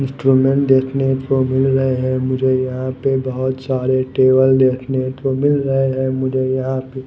instrument देखने को मिल रहे हैं मुझे यहां पे बहोत सारे टेबल देखने को मिल रहे हैं मुझे यहां पे--